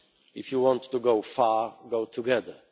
alone. If you want to go far, go together'.